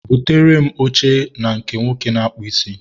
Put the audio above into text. Butere m oche na nke nwoke na-akpụ isi.